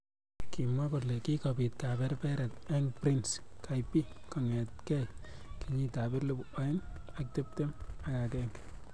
Kimwa kole kikobit kaberberet eng prince Kaybee kongetkei kenyit ab elibu aeng ak tiptem. agenge.